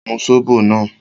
Mú sóbò náà!